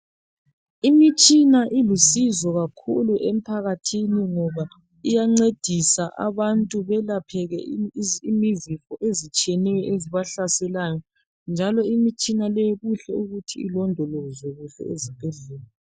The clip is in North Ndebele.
Imitshina ilusizo kakhulu emphakathini ngoba iyancedisa abantu belapheke izifo ezitshiyeneyo ezibahlaselayo njalo imitshina leyi kuhle ukuth ilondolozwe ezibhedlela.